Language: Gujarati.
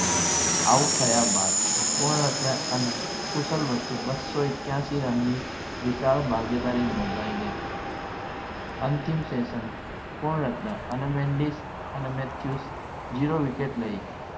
Out થયા બાદ પૂર્ણ અને ખુશાલ વચ્ચે બસ્સો એક્યાસી રનની વિચાર ભાગીદારી નોંધાઈ ગઈ અંતિમ session પૂર્ણ રત્ન અને મેનિસ અને મેચ્યુસ zero wicket લઈ ગયા